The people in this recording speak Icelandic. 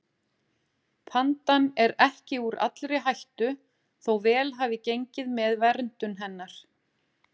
Pandan er ekki úr allri hættu þó vel hafi gengið með verndun hennar.